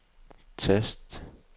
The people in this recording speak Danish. tast